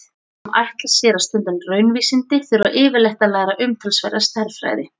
Þeir sem ætla sér að stunda raunvísindi þurfa yfirleitt að læra umtalsverða stærðfræði.